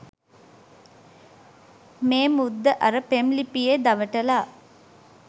මේ මුද්ද අර පෙම් ලිපියේ දවටලා